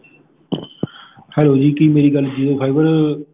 hello ਜੀ ਕੀ ਮੇਰੀ ਗੱਲ jio fiber center ਚ ਹੋ ਰਹੀ ਆ?